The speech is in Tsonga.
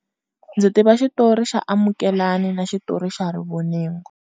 Ndzi tiva xitori xa Amukelani na xitori xa Rivoningo.